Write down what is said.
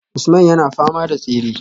Usman yana fama da tsere